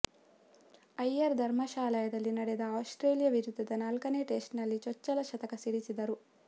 ಅಯ್ಯರ್ ಧರ್ಮಶಾಲಾದಲ್ಲಿ ನಡೆದ ಆಸ್ಟ್ರೇಲಿಯ ವಿರುದ್ಧದ ನಾಲ್ಕನೆ ಟೆಸ್ಟ್ನಲ್ಲಿ ಚೊಚ್ಚಲ ಶತಕ ಸಿಡಿಸಿದ್ದರು